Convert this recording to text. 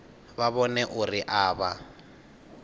vha vhone uri a vha